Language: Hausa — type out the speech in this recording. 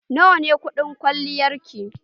Nawa ne kuɗin kwalliyar ki?